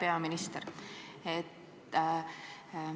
Hea peaminister!